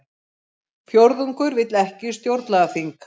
Fjórðungur vill ekki stjórnlagaþing